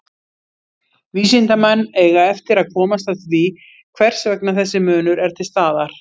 Vísindamenn eiga eftir að komast að því hvers vegna þessi munur er til staðar.